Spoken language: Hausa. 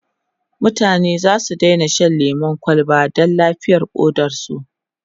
mutane zasu Daina Shan lemun kwalba Dan lafiyar ƙodarsu